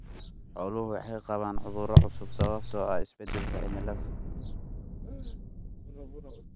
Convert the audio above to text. Xooluhu waxay qabaan cudurro cusub sababtoo ah isbeddelka cimilada.